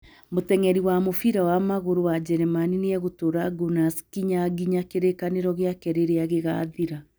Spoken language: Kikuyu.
Mũteng'eri wa mũbira wa magũrũ wa Njĩrĩmani nĩ egũtũũra Gunners kinya nginya kĩrĩkanĩro gĩake rĩrĩa gĩgaathira.